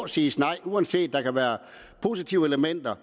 siges nej uanset om der kan være positive elementer